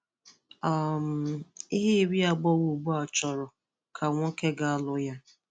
um Ihe iri agbọghọ ugbua chọrọ ka nwoke gà-alụ ya